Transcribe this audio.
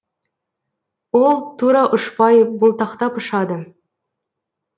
ол тура ұшпай бұлтақтап ұшады